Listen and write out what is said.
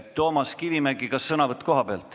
Toomas Kivimägi, kas sõnavõtt kohalt?